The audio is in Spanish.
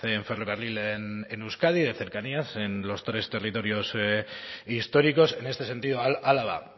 en ferrocarril en euskadi de cercanías en los tres territorios históricos en este sentido álava